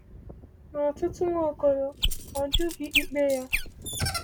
N’otuto Nwaokolo, ọ jụghị ikpe ya.